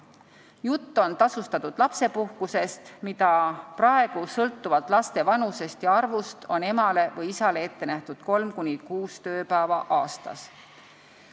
Jutt on tasustatud lapsepuhkusest, mida praegu sõltuvalt laste vanusest ja arvust on emale või isale ette nähtud 3–6 tööpäeva aastas.